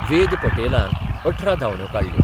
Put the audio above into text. वेद पटेलान अठरा धांवड्यो काडल्यो.